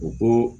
U ko